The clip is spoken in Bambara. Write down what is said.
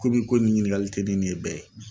Komi i ko nin ɲininkali tɛ ne ni e bɛɛ ye.